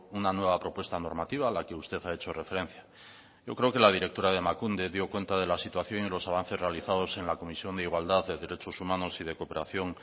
una nueva propuesta normativa a la que usted ha hecho referencia yo creo que la directora de emakunde dio cuenta de la situación y de los avances realizados en la comisión de igualdad de derechos humanos y de cooperación